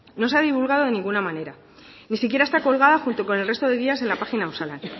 no se ha divulgado de ninguna manera ni siquiera está colgado junto con el resto de guías en la página osalan